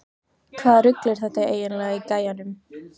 Hvaða rugl er þetta eiginlega í gæjanum?